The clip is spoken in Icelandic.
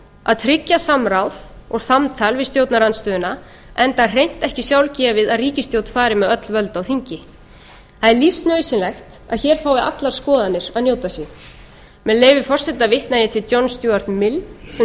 að tryggja samráð og samtal við stjórnarandstöðuna enda hreint ekki sjálfgefið að ríkisstjórn fari með öll völd á þingi það er lífsnauðsynlegt að hér fái allar skoðanir að njóta sín með leyfi forseta vitna ég til john snúast mills sem sagði